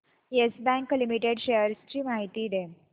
yes Bank Limited shares ची माहिती दे